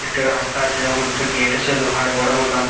একটা রাস্তা আছে এবং একটি গেট আছে লোহার বড়ো মতন।